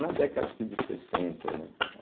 Na década acho que de sessenta, né?